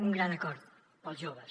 un gran acord per als joves